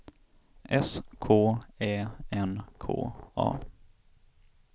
S K Ä N K A